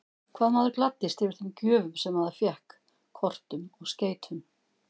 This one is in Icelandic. Hvað maður gladdist yfir þeim gjöfum sem maður fékk, kortum og skeytum!